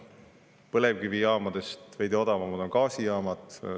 Põlevkivijaamadest veidi odavamad on gaasijaamad.